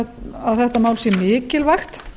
að þetta mál sé mikilvægt